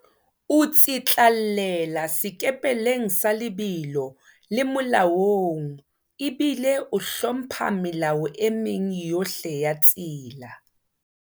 O tsitlallela sekepeleng sa lebelo le molaong ebile o hlompha melao e meng yohle ya tsela.